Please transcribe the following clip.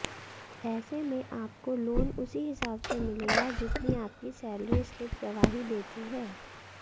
ऐसे में आपको लोन उसी हिसाब से मिलेगा जितनी आपकी सैलरी स्लिप गवाही देती है